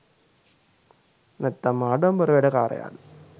නැත්තම් ආඩම්බර වැඩ කාරයාද?